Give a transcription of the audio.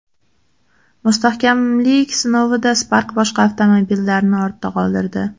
Mustahkamlik sinovida Spark boshqa avtomobillarni ortda qoldirdi.